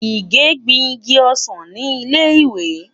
Ìgè gbin igi ọsàn ni ilé ìwé.